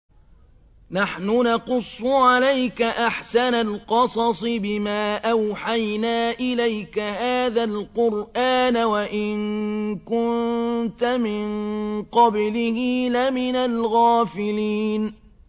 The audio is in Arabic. نَحْنُ نَقُصُّ عَلَيْكَ أَحْسَنَ الْقَصَصِ بِمَا أَوْحَيْنَا إِلَيْكَ هَٰذَا الْقُرْآنَ وَإِن كُنتَ مِن قَبْلِهِ لَمِنَ الْغَافِلِينَ